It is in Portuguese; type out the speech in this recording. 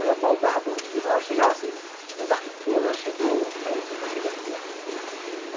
Ela mal dava bom dia, mas ela chegava assim, eu marquei que fulano chegou, aí eu falei, está chegando já.